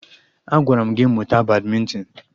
Agwara m gị mụta badmịntịn!